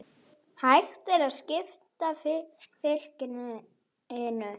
Hægt er að skipta fylkinu